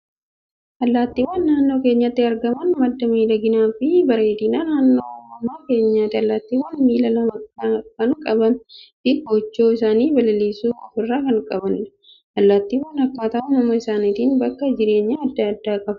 Allaattiiwwan naannoo keenyatti argaman, madda miidhaginaa fi bareedinaa naannoo uumama keenyaati. Allaattiiwwan miila lama kan qabanii fi kochoo isaan balaliisisu ofirraa qabu. Allaattiiwwan akkaataa uumama isaaniitiin bakka jireenyaa addaa addaa qabu.